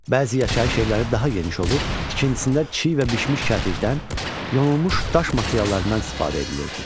Bəzi yaşayış evləri daha geniş olub, tikintisində çiy və bişmiş kərpicdən, yonulmuş daş materiallarından istifadə edilirdi.